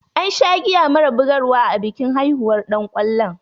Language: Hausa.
An sha giya mara bugar wa a bikin haihuwar ɗan kwallon.